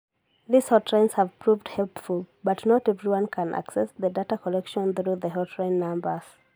These hotlines have proved helpful, but not everyone can access the data collected through the hotline numbers.